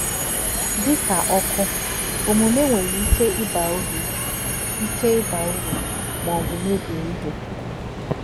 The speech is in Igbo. Dị ka ọkụ, omume nwere ike ịba uru ike ịba uru maọbụ mebie ihe